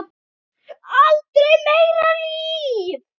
Aldrei meira líf.